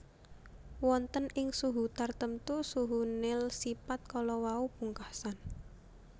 Wonten ing suhu tartemtu suhu Néel sipat kalawau pungkasan